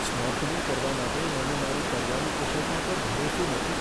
Snorkelling કરવા માટે મને મારી તરવાની કુશળતા પર ભરોસો નથી.